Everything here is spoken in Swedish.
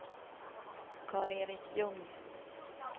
Karl-Erik Ljung